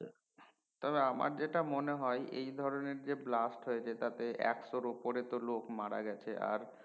তা না আমার যেটা মনে হয় এই ধরনের যে blast হয়েছে তাতে একশো উপরে তো লোক মারা গেছে আর